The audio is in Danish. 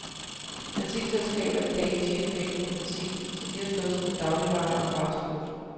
Benzinselskaberne kan ikke tjene penge på benzin, så de har slået sig på dagligvarer og fastfood.